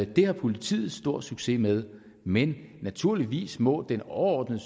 det har politiet stor succes med men naturligvis må det overordnede